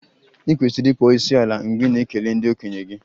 I kwesịrị ịkpọ isiala mgbe ị na-ekele ndị okenye gị